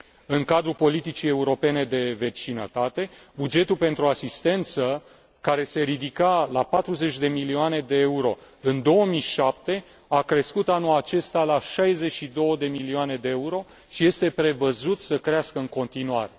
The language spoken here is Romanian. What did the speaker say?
În cadrul politicii europene de vecinătate, bugetul pentru asistență, care se ridica la 40 de milioane de euro în 2007, a crescut anul acesta la 62 de milioane de euro și este prevăzut să crească în continuare.